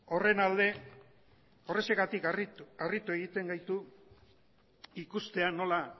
horren alde horrexegatik harritu egiten gaitu ikustean nola